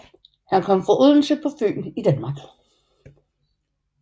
Han kom fra Odense på Fyn i Danmark